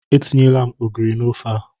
Etinyere m ogiri n'ofe a.